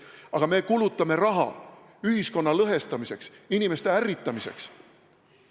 Aga me kulutame raha ühiskonna lõhestamiseks, inimeste ärritamiseks.